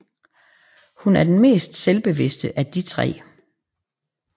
Hun er den mest selvbevidste af de tre